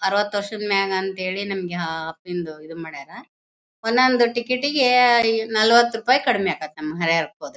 ಅರವತು ವರ್ಷದ ಮ್ಯಾಗ್ ಅಂತೇಳಿ ಆಹ್ಹ್ಹ್ ಇದು ಮಾಡ್ಯಾರ ಒನ್ ಒಂದು ಟಿಕೆಟ್ ಗೆ ಹೆಯೇ ನಲವತ್ತು ರೂಪಾಯಿ ಕಡಿಮೆ ಆಗತ್ತೆ ನಮ್ ಹರಿಹರಕ್ಕೆ ಹೋದ್ರೆ.